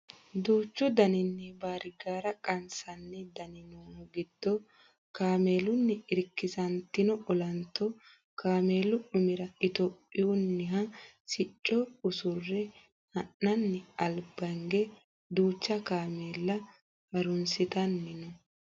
duuchu danini baarigaara qansanni dani noohu giddo kameelunni irkisantino olanto kameelu umira itiyophiyuunniha sicco usurre ha'nanni albaange duucha kameella harunsitanni no